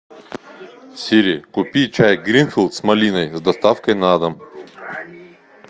сири купи чай гринфилд с малиной с доставкой на дом